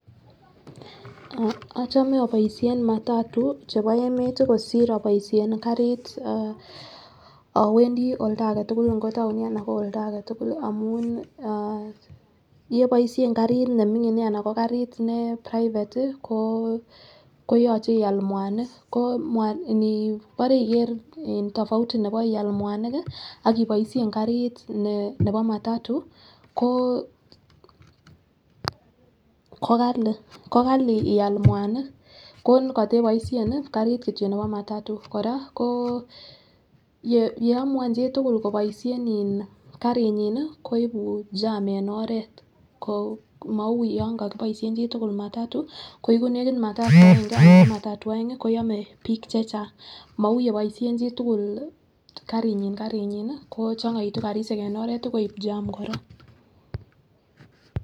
Ochome oboishen matatu chebo emet tii kosir oboishen kasit ah owendii oldo agetukul nko town nii anan ko olda agetukul amun an yeboishen karit nemingin anan ko karit ne private tii ko koyoche ial muanik ko mua ko nibore iker tofauti nebo ial muanik kii ak iboishen karit ne nebo matatu ko kokali ko Kali eial muanik ko koteboshen karit kityok nebo matatu. Koraa ko yeamun chitukul koboishen in karinyin nii ko ibu jarm en oret mou yon kokiboishen chitukul matatu ko iku nekit matatu aenge ana ko matatu oengi koyome bik chechang mou yeboishen chitukul karinyin karinyin ko chongoitu karishek en oret tii koib jarm koraa.